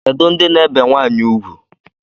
Kedu ndị na-ebe nwanyị ugwu?